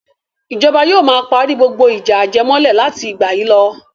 Ìjọba yóò ma parí gbogbo ìjà ajẹmọ́lẹ̀ láti ìgbà yìí lọ.